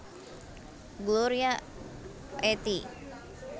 Gloria a ti